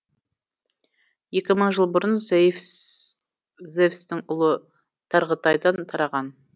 екі мың жыл бұрын зевстің ұлы тарғытайдан тараған